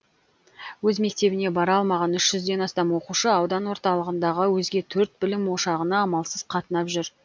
өз мектебіне бара алмаған үш жүзден астам оқушы аудан орталығындағы өзге төрт білім ошағына амалсыз қатынап жүр